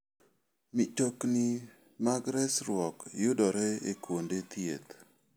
Mtokni mag resruok yudore e kuonde thieth.